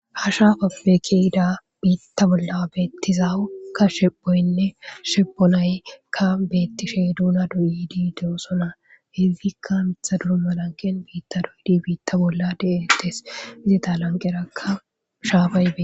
ha shaafappe ke'ida biitta bolla beettiza ukka shedhoyinne sheponayikka beettishe duna duuyidi de'osona hidzdikka mitha duru malanqen biitta doyidi biitta bolla de'eettes izeta lanqerakka shaafayi be